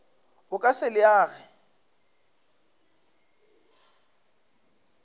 o ka se le age